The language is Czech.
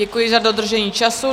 Děkuji za dodržení času.